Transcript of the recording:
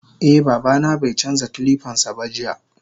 Eh babana baicanja kilipansaba jiya.